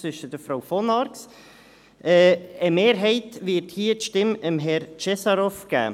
Eine Mehrheit wird hier die Stimme Herrn Cesarov geben.